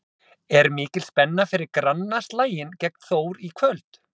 Er mikil spenna fyrir grannaslaginn gegn Þór í kvöld?